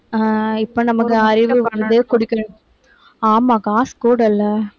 ஆஹ் இப்ப நமக்கு அறிவு ஆமாம் காசு கூட இல்லை